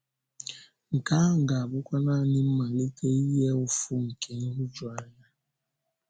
Nke ahụ ga-abụkwa nanị “mmalite ihe ụfụ̀ nke nhụ̀juanya.”